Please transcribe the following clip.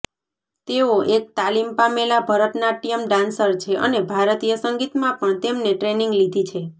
તેઓ એક તાલીમ પામેલા ભરતનાટ્યમ ડાન્સર છે અને ભારતીય સંગીતમાં પણ તેમને ટ્રેનિંગ લીધી છે